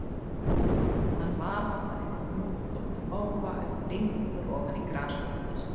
Hann valhoppaði yfir hnútótta móa upp á lyngþúfur og ofan í grasdokkir.